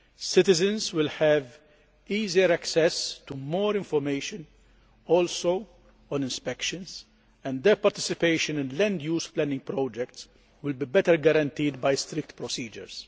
Citizens will have easier access to more information, including on inspections, and their participation in land use planning projects will be better guaranteed by strict procedures.